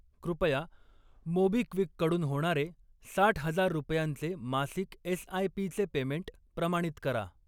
कृपया मोबिक्विक कडून होणारे साठ हजार रुपयांचे मासिक एस.आय.पी.चे पेमेंट प्रमाणित करा.